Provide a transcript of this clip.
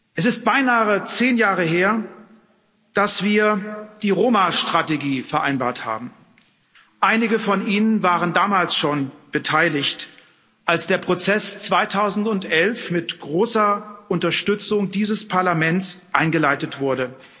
Es ist beinahe zehn Jahre her, dass wir die Roma Strategie vereinbart haben. Einige von Ihnen waren damals schon beteiligt, als der Prozess 2011 mit großer Unterstützung dieses Parlaments eingeleitet wurde.